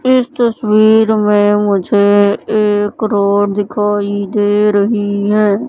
इस तस्वीर में मुझे एक रोड दिखाई दे रही हैं।